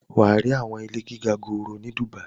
wà á rí àwọn ilé gíga gòòrò ni Dubai.